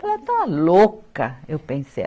Ela está louca, eu pensei.